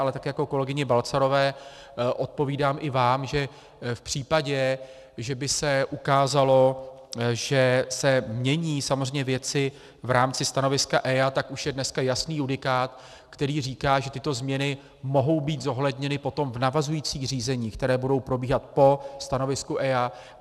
Ale tak jako kolegyni Balcarové odpovídám i vám, že v případě, že by se ukázalo, že se mění samozřejmě věci v rámci stanoviska EIA, tak už je dneska jasný judikát, který říká, že tyto změny mohou být zohledněny potom v navazujících řízeních, které budou probíhat po stanovisku EIA.